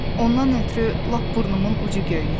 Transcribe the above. Ondan ötrü lap burnumun ucu göynəyir.